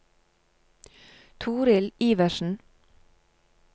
Torill Iversen